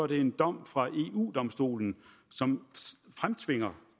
det en dom fra eu domstolen som fremtvinger